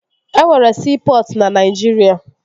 E nwere siipọtụ na Naijiria